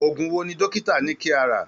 Oògùn wo ni dókítà ní kí a rà?